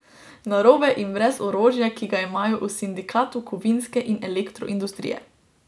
Narobe in brez orožja, ki ga imajo v sindikatu kovinske in elektroindustrije.